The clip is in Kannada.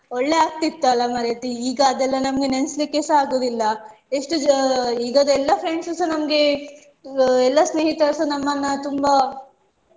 ಒಳ್ಳೆ ಆಗ್ತಿತ್ತು ಅಲ್ಲ ಮಾರಾಯ್ತಿ ಈಗ ಅದೆಲ್ಲ ನಮ್ಗೆ ನೆನ್ಸ್ಲಿಕ್ಕೆ ಸ ಆಗುದಿಲ್ಲ ಎಷ್ಟು ಅಹ್ ಈಗದ್ದೆಲ್ಲ friends ಸ ನಮ್ಗೆ ಎಲ್ಲ ಸ್ನೇಹಿತರುಸ ನಮ್ಮನ್ನ ತುಂಬ